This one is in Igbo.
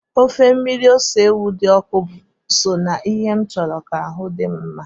Ofe mmiri ose ewu di oku bu so nana ihe nchuru ka ahu di'm nma